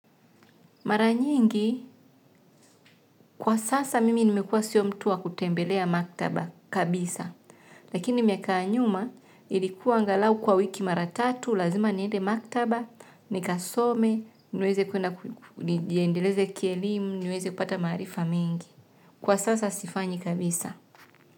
Mara nyingi, kwa sasa mimi nimekuwa sio mtu wa kutembelea maktaba kabisa, lakini miaka ya nyuma ilikuwa angalau kwa wiki mara tatu, lazima niende maktaba, nikasome, nijiendeleze kielimu, niweze kupata maarifa mengi. Kwa sasa sifanyi kabisa.